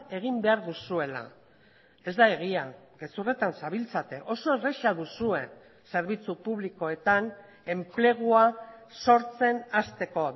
egin behar duzuela ez da egia gezurretan zabiltzate oso erraza duzue zerbitzu publikoetan enplegua sortzen hasteko